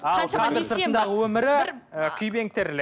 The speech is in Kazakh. ал кадр сыртындағы өмірі і күйбең тірлік